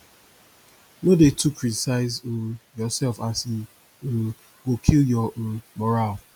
no dey too criticize um urself as e um go kill ur um moral